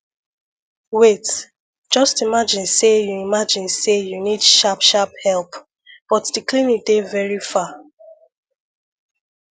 wait just imagine say you imagine say you need sharp sharp help but the clinic dey very far